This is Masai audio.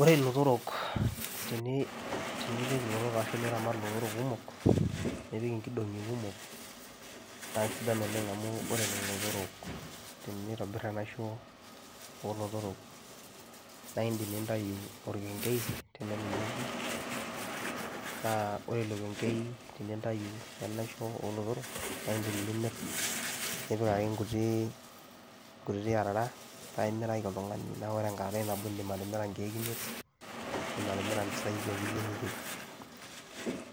Ore lotorok teni tenipik ilotorok arashu niramat ilotorok kumok, nipik nkidong'i kumok naa sidan oleng' amu ore lelo otorok tenitobir enaisho oo lotorok nae iindim nintayu orkeng'ei tenelo neeku naa ore ilo keng'ei tenintayu enaisho oo lotorok nae indim nimir, nipik ake nkuti nkutiti arara nae imirika oltung'ani. Neeku ore enkararai nabo niindim atimira nkeek imiet iindim atimira impisai ake yie niyeu